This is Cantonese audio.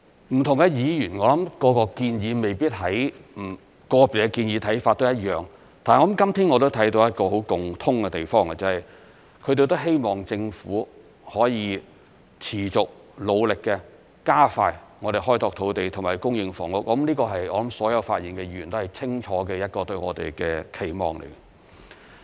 不同議員對個別建議看法未必相同，但今天我見到一個共通的地方，便是希望政府可以持續、努力、加快開拓土地和供應房屋，這是所有發言議員對我們一個清楚的期望。